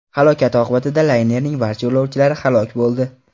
Halokat oqibatida laynerning barcha yo‘lovchilari halok bo‘ldi .